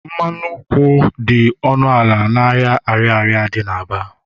mmanụ nkwụ dị ọnụ ala n'ahịa Ariaria dị n'Aba